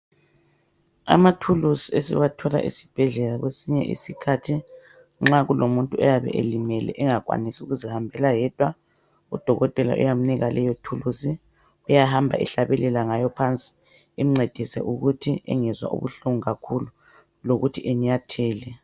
Amathulusi esiwathola esibhedlela kwesinye isikhathi nxa kulomuntu oyabe elimele engakwanisi ukuzihambela yedwa udokotela uyamnika leyo thuluzi. Uyahamba ehlabelela ngayo phansi imncedise ukuthi engezwa ubuhlungu kakhulu lokuthi enyathele.